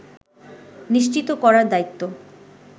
নিশ্চিত করার দায়িত্ব